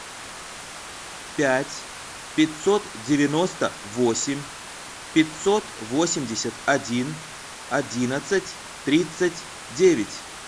пять пятьсот девяносто восемь пятьсот восемьдесят один одиннадцать тридцать девять